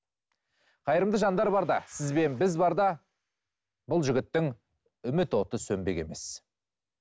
қайырымды жандар барда сіз бен біз барда бұл жігіттің үміт оты сөнбек емес